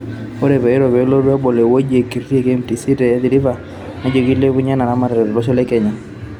Ore peiro peelotu abol ewueji o nkiri e KMC te Athiriver nejo keilepunye ena eramatare to losho le Kenya.